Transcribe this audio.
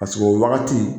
Paseke o wagati